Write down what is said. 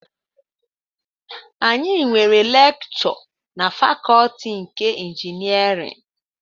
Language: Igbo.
Anyị nwere lekchọ na fakọtị nke ịnjinierịn